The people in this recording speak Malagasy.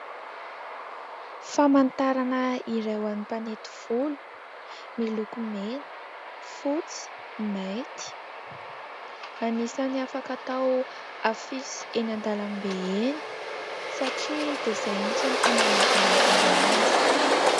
Famantarana iray ho an'ny mpanety volo miloko mena, fotsy, mainty. Anisan'ny afaka tao afisy eny an-dalambe eny satria dia izay mitsy no tanjona anamboarana azy.